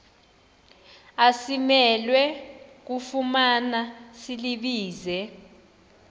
asimelwe kufumana silibize